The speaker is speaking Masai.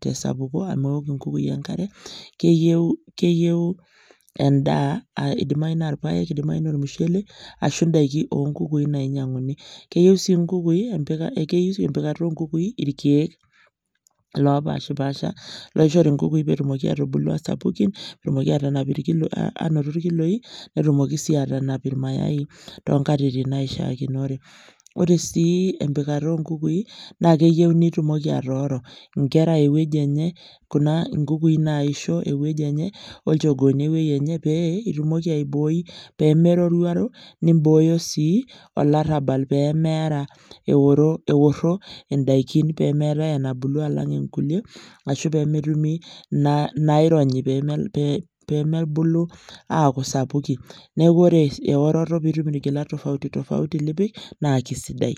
te sapuko amu ewok nkukui enkare, keyeu keyeu endaa aa idimayu naa irpaek, idimayu naa ormushele ashu ndaiki o nkukui nainyang'uni. Keyeu sii nkukui empika keyiu sii empikata o nkukui irkeek lopaashipaasha loishori nkukui peetumoki aatubulu aa sapukin netumoki aatanap irkiloi aanoto irkiloi, netumoki sii aatanap irmayai too nkatitin naishaakinore. Ore sii empikata o nkukui naake eyeu nitumoki atooro nera ewueji enye, kuna nkukui naisho ewuji enye olchogooni ewueji enye pee itumoki aibooi pee meroruaro, nimbooyo sii olarabal pee meera eoro eworo ndaikin pee meetai enabulu alang' inkulie ashu pee metumi na naironyi pee pee mebulu aaku sapukin. Neeku ore eworoto piitum irgilat tofauti tofauti lipik naake sidai.